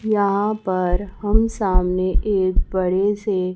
यहां पर हम सामने एक बड़े से--